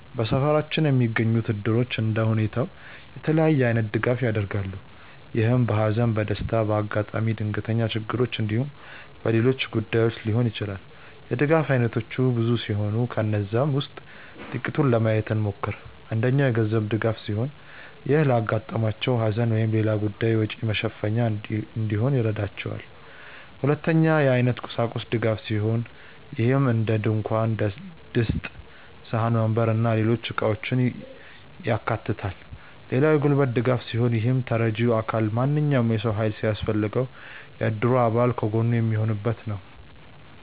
በሰፈራችን የሚገኙት እድሮች እንደየሁኔታው የተለያየ አይነት ድጋፍ ያደርጋሉ። ይህም በሃዘን፣ በደስታ፣ በአጋጣሚ ድንገተኛ ችግሮች እንዲሁም በሌሎች ጉዳዮች ሊሆን ይችላል። የድጋፍ አይነቶቹ ብዙ ሲሆኑ ከነዛም ውስጥ ጥቂቱን ለማየት እንሞክር። አንደኛው የገንዘብ ድጋፍ ሲሆን ይህም ለአጋጠማቸው ሃዘን ወይም ሌላ ጉዳይ ወጪ መሸፈኛ እንዲሆን ይረዳቸዋል። ሁለተኛው የአይነት እና የቁሳቁስ ድጋፍ ሲሆን ይህም እንደድንኳን ድስት፣ ሳህን፣ ወንበር እና ሌሎች እቃውችን ያካታል። ሌላው የጉልበት ድጋፍ ሲሆን ይህም ተረጂው አካል ማንኛውም የሰው ሃይል ሲያስፈልገው የእድሩ አባል ከጎኑ የሚሆኑበት ነው።